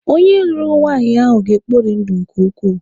Onye lụrụ nwaanyị ahụ ga-ekpori ndụ nke ukwuu.